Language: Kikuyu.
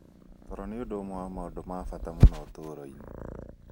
Toro nĩ ũndũ ũmwe wa maũndũ ma bata mũno ũtũũro-inĩ